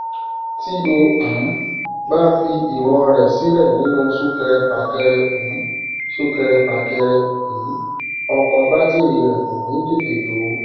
tí o um bá fi ìwọn rẹ sílẹ nínú súkẹrẹfàkẹrẹ um súkẹrẹfàkẹrẹ um ọkọ bátìrì rẹ kò ní tètè jó